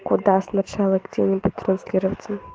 куда сначала где-нибудь транслироваться